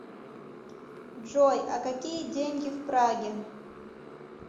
джой а какие деньги в праге